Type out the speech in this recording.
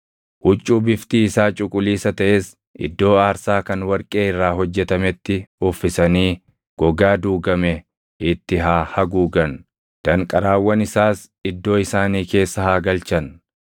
“Huccuu biftii isaa cuquliisa taʼes iddoo aarsaa kan warqee irraa hojjetametti uffisanii gogaa duugame itti haa haguugan; danqaraawwan isaas iddoo isaanii keessa haa galchan.